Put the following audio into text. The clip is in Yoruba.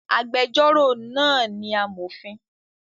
Agbẹjọ́rò náà ni amọ̀fin